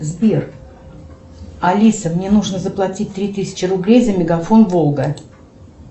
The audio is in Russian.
сбер алиса мне нужно заплатить три тысячи рублей за мегафон волга